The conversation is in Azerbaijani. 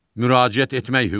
Müraciət etmək hüququ.